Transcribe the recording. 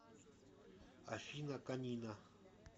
афина конина